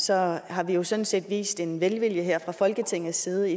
så har vi jo sådan set vist en velvilje her fra folketingets side